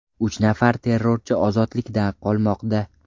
Uch nafar terrorchi ozodlikda qolmoqda.